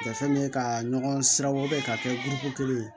Kɛ fɛn min ye ka ɲɔgɔn siran k'a kɛ kelen ye